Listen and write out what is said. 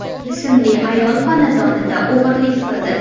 ismli ayol xonadonida o‘g‘rilik qildi.